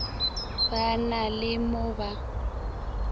ba na le mo ba